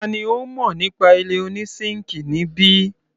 Tani ó mọ nípa ilé oní síńkì níbí?